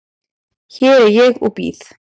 Hér er ég og bíð.